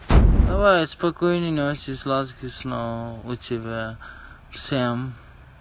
давай спокойной ночи сладких снов у тебя всем